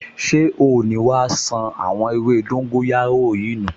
Ṣé oò ní wá ṣan àwọn ewé dóńgóyárò yìí nù!